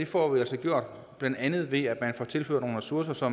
får vi altså blandt andet gjort ved at tilføre nogle ressourcer så